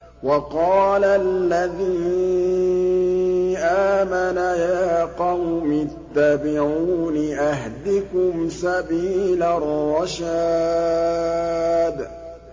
وَقَالَ الَّذِي آمَنَ يَا قَوْمِ اتَّبِعُونِ أَهْدِكُمْ سَبِيلَ الرَّشَادِ